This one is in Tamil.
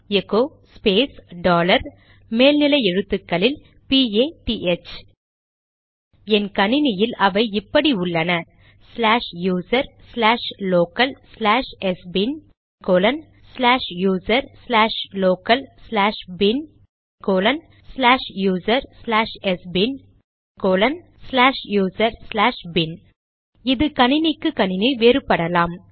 எகோ ஸ்பேஸ் டாலர் மேல் நிலை எழுத்துக்களில் பிஏடிஹெச்PATH என் கணினியில் அவை இப்படி உள்ளனச்லாஷ் user slash local slash sbin slash user slash local slash bin slash user slash sbin slash user slash bin இது கணினிக்கு கணினி வேறுபடலாம்